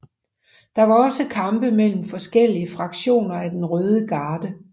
Der var også kampe mellem forskellige fraktioner af den røde garde